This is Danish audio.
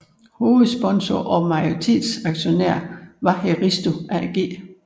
Hovedsponsoren og majoritetsaktionær var heristo AG